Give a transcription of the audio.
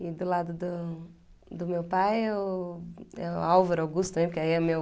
E do lado do do meu pai é o é o Álvaro Augusto é meu